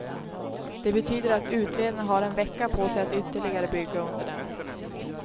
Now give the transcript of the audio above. Det betyder att utredarna har en vecka på sig att ytterligare bygga under dem.